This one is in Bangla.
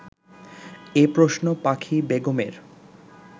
এ প্রশ্ন পাখি বেগমের